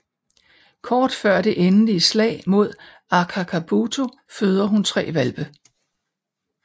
Kort før det endelige slag mod Akakabuto føder hun tre hvalpe